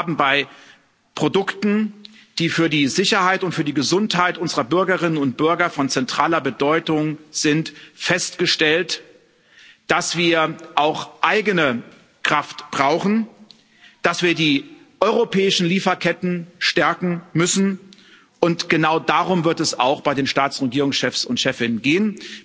Aber wir haben bei Produkten, die für die Sicherheit und für die Gesundheit unserer Bürgerinnen und Bürger von zentraler Bedeutung sind, festgestellt, dass wir auch eigene Kraft brauchen, dass wir die europäischen Lieferketten stärken müssen, und genau darum wird es auch bei den Staats und Regierungschefs und chefinnen gehen.